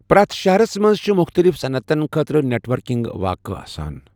پرٮ۪تھ شہرَس منٛز چِھ مختلف صنعتَن خٲطرٕ نیٹ ورکنگ واقعہٕ آسان۔